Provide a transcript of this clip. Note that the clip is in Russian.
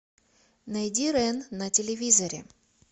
найди рен на телевизоре